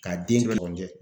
K'a den